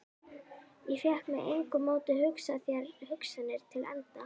Ég fékk með engu móti hugsað þær hugsanir til enda.